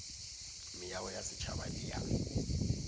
meago ya setšhaba le ya